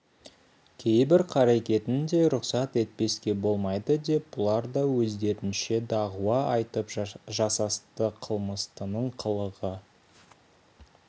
кейбір қарекетін де рұқсат етпеске болмайды деп бұлар да өздерінше дағуа айтып жасасты қылмыстының қылығы